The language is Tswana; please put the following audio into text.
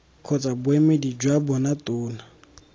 kgotsa boemedi jwa bona tona